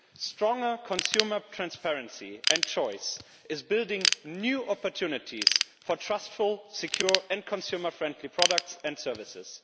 Stronger consumer transparency and choice is building new opportunities for trustful, secure and consumer friendly products and services.